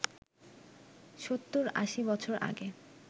৭০-৮০ বছর আগে